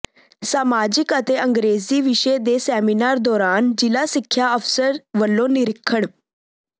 ਸਮਾਜਿਕ ਅਤੇ ਅੰਗਰੇਜ਼ੀ ਵਿਸ਼ੇ ਦੇ ਸੈਮੀਨਾਰ ਦੌਰਾਨ ਜ਼ਿਲ੍ਹਾ ਸਿੱਖਿਆ ਅਫ਼ਸਰ ਵਲੋਂ ਨਿਰੀਖਣ